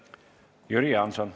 Jüri Jaanson.